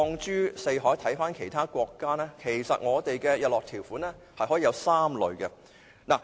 如果看看其他國家的做法，其實我們的日落條款可以有3類。